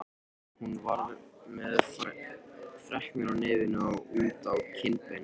Hún var með freknur á nefinu og út á kinnbeinin.